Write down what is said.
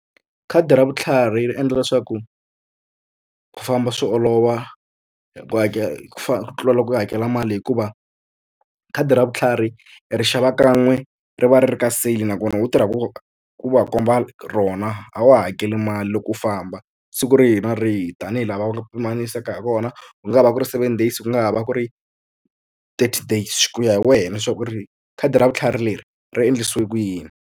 Khadi ra vutlhari ri endla leswaku ku famba swi olova hi ku hakela ku ku tlula loko u hakela mali hikuva khadi ra vutlhari i ri xava kan'we ri va ri ri ka sale nakona u tirha ku ku va komba rona a wu hakeli mali loko u famba siku rihi na rihi tanihi la va nga pimanisa ha kona ku nga va ku ri seven days ku nga ha va ku ri thirty days ku ya hi wena swa ku ri khadi ra vutlhari leri ri endlisiwe ku yini.